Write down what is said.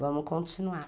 Vamos continuar.